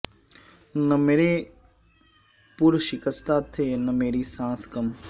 نہ میرے پر شکستہ تھے نہ میری سانس کم